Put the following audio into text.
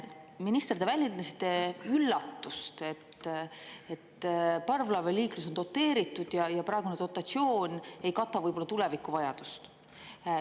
Minister, te väljendasite üllatust, et parvlaevaliiklus on doteeritud ja praegune dotatsioon ei kata võib-olla tuleviku vajadust.